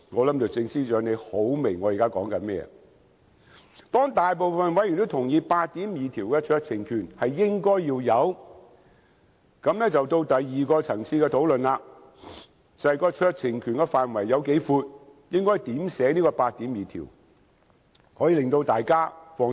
當大部分委員也同意《條例草案》第82條的酌情權應該要有，便到了第二個層次的討論，便是酌情權的涵蓋範圍，應如何草擬《條例草案》第82條，才可以令大家較為放心。